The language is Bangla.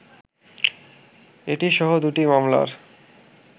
এটি সহ দু’টি মামলার